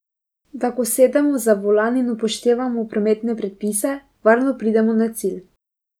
Da ko sedemo za volan in upoštevamo prometne predpise, varno pridemo na cilj.